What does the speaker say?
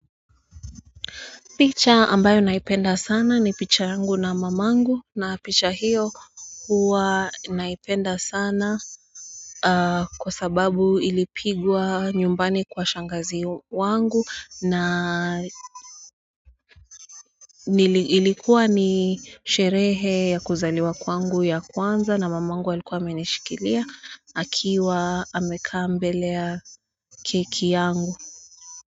Picha ambayo naipenda sana ni picha yangu na mamangu na picha hiyo huwa naipenda sana kwa sababu ilipigwa nyumbani kwa shangazi wangu na ilikuwa ni sherehe ya kuzaliwa kwangu ya kwanza na mamangu alikuwa amenishikilia akiwa amekaa mbele ya keki yangu.